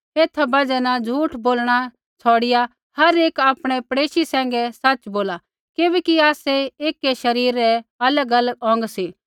एथा बजहा न झूठ बोलणा छ़ौड़िआ हर एक आपणै पड़ेशी सैंघै सच़ बोला किबैकि आसै एकी शरीरा रै अलगअलग अौंग सी